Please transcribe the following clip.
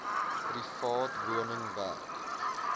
private woning werk